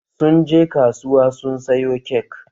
Sun je kasuwa sun sayo kek.